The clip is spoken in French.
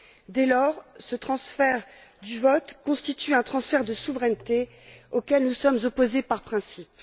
Dès lors, ce transfert du vote constitue un transfert de souveraineté auquel nous sommes opposés par principe.